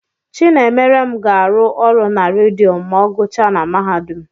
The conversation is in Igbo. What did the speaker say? Chinemerem ga-arụ ọrụ na redio ma ọ guchae n'mahadum.